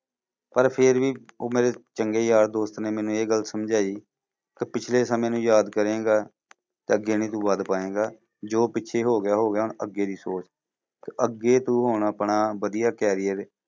ਪਰ ਫੇਰ ਵੀ ਉਹ ਮੇਰੇ ਚੰਗੇ ਯਾਰ ਦੋਸਤ ਨੇ ਮੈਨੂੰ ਇਹ ਗੱਲ ਸਮਝਾਈ, ਕਿ ਪਿਛਲੇ ਸਮੇਂ ਨੂੰ ਯਾਦ ਕਰੇਂਗਾ ਤਾਂ ਅੱਗੇ ਨੀ ਤੂੰ ਵੱਧ ਪਾਏਂਗਾ। ਜੋ ਪਿੱਛੇ ਹੋ ਗਿਆ ਹੋ ਗਿਆ ਹੁਣ ਅੱਗੇ ਦੀ ਸੋਚ। ਅੱਗੇ ਤੂੰ ਹੁਣ ਆਪਣਾ ਵਧੀਆ career